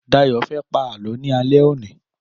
Dáyọ̀ fẹ́ pá Àlọ́ ni alẹ́ òní.